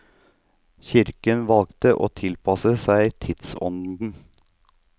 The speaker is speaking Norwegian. Kirken valgte å tilpasse seg tidsånden.